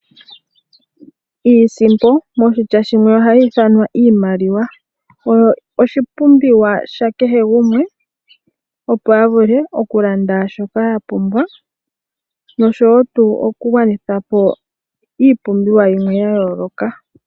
Iisimpo moshitya shimwe ohayi ithanwa iimaliwa. Oyo oshipumbiwa sha kehe gumwe opo a vule okulanda shoka ya pumbwa nosho tuu okugwanitha po iipumbiwa yimwe ya gwedhwa po.